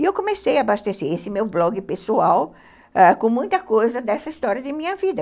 E eu comecei a abastecer esse meu blog, pessoal, ãh, com muita coisa dessa história de minha vida.